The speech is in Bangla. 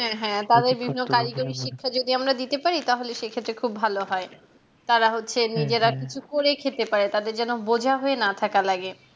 হ্যাঁ হ্যাঁ কারিগরিক শিক্ষা যদি আমরা দিতে পারি তাহলে সেই ক্ষেত্রে খুব ভালো হয় তাড়া হচ্ছে নিজেরা কিছু করে খেতে পারে তাদের যেন বোঝা হয়ে না থাকা লাগে